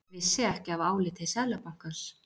Vissi ekki af áliti Seðlabankans